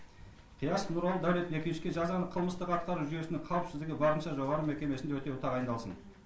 қиясов нұралы дәулетбековичке жазаны қылмыстық атқару жүйесінің қауіпсіздігі барынша жоғары мекемесінде өтеуі тағайындалсын